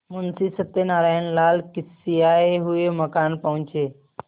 मुंशी सत्यनारायणलाल खिसियाये हुए मकान पहुँचे